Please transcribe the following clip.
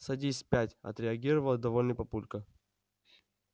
садись пять отреагировал довольный папулька